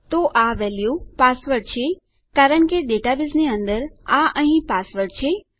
તો આ value password છે કારણ કે આપણા ડેટાબેઝની અંદર આ અહીં પાસવર્ડ છે